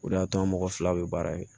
O de y'a to an mɔgɔ fila bɛ baara kɛ